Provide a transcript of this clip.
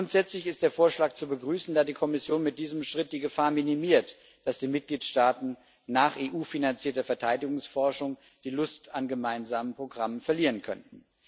Grundsätzlich ist der Vorschlag zu begrüßen, da die Kommission mit diesem Schritt die Gefahr minimiert, dass die Mitgliedstaaten nach EU finanzierter Verteidigungsforschung die Lust an gemeinsamen Programmen verlieren könnten.